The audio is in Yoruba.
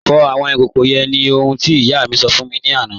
Fọ̀ awọn ikókó yẹ́n ni ohun tí iyà mi sọ̀ fún mi ni alẹ̀ àná.